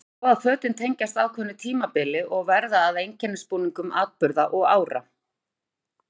Það er svo að fötin tengjast ákveðnu tímabili og verða að einkennisbúningum atburða og ára.